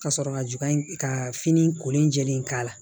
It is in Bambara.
Ka sɔrɔ ka juga in ka fini kolen jɛlen k'a la